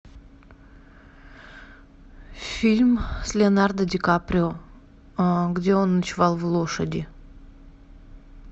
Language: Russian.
фильм с леонардо ди каприо где он ночевал в лошади